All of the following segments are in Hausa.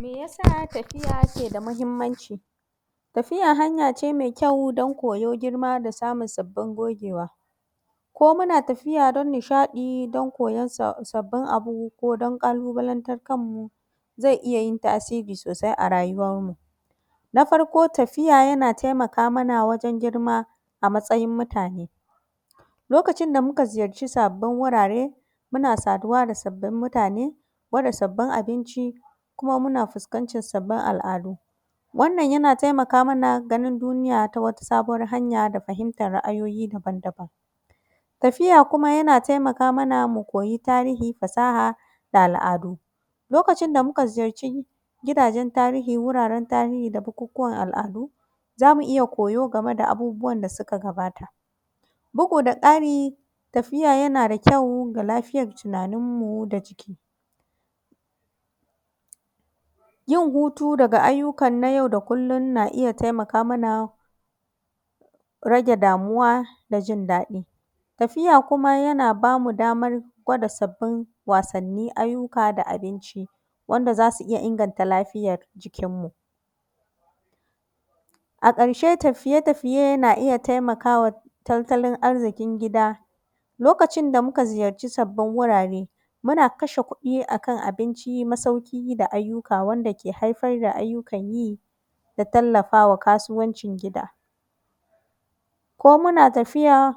Me yasa tafiya ke da muhimmanci? Tafiya hanya ce mai kyau don koyo girma da samun sabbin gogea. Ko muna tafiya don nishaɗi, don koyon sabbin sabbin abu, ko don ƙalubalantar kan mu, zai iya yin tasiri sosai a rayuwar mu. Na farko tafiya yana taimaka mana wajen girma a matsayin mutane. Lokacin da muka ziyarci sabbin wurare, muna saduwa da sabbin mutane, ko da sabbin abinci, kuma muna fuskantar sabbin al'adu Wannan yana taimaka mana ganin duniya ta wata sabuwar hanya da fahimtar ra'ayoyi daban-daban. Tafiya kuma yana taimaka mana mu koyi tarihi, fasaha da al'adu. Lokacin da muka ziyarci gidajen tarihi, wuraren tarihi da bukukuwan al'adu, zamu iya koyo game da abubuwan da suka gabata. Bugu da ƙari tafiya yana da kyau ga lafiyar tunanin mu da jiki. Yin hutu daga ayyukan na yau da kullum na taimaka mana rage damuwa da jin daɗi, tafiya kuma yana bamu damar gwada sabbin wasanni, ayyuka da abinci, wanda zasu iya inganta lafiyar jikin mu. A ƙarshe tafiye -tafiye na iya taimakawa tattalin arzikin gida. Lokacin da muka ziyarci sabbin wurare, muna kashe kuɗi a kan abinci, masauki da ayyuka wanda ke haifar da ayyukan yi, da tallafawa kasuwancin gida. Ko muna tafiya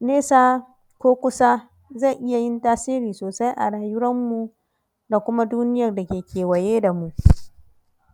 nesa ko kusa zai iya yin tasiri sosai a rayuwar mu, da kuma duniyar da ke kewaye da mu.